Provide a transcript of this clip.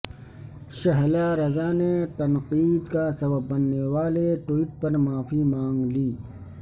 شہلا رضا نے تنقید کا سبب بننے والے ٹوئٹ پر معافی مانگ لی